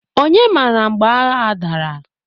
Onye mara mgbe agha a dara?